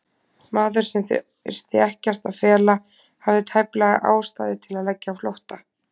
Maður, sem þyrfti ekkert að fela, hafði tæplega ástæðu til að leggja á flótta?